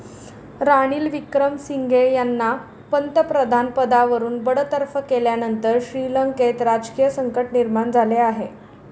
रानिल विक्रमसिंघे यांना पंतप्रधानपदावरून बडतर्फ केल्यानंतर श्रीलंकेत राजकीय संकट निर्माण झाले आहे.